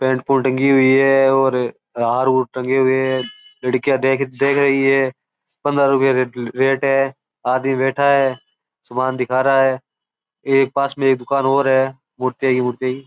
pant coat टंगी है हार टंगे है लड़किया देख रही है पंद्रह रुपया रेट है आदमी बैठा है सामान दिखा रहा है पास में एक दूकान और है भुट्टे की --